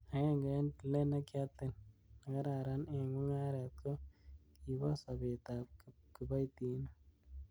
Agenge en tilet nekiatil nekararan en mungaret, ko kibo sobetab kiboitinik.